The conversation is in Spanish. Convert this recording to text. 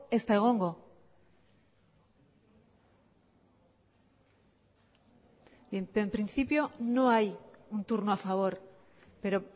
ez da egongo en principio no hay un turno a favor pero